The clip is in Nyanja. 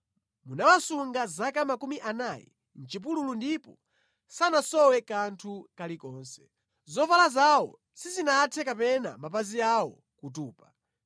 Munawasunga zaka makumi anayi mʼchipululu ndipo sanasowe kanthu kalikonse. Zovala zawo sizinathe kapena mapazi awo kutupa.”